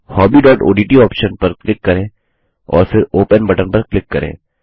अब hobbyओडीटी ऑप्शन पर क्लिक करें और फिर ओपन बटन पर क्लिक करें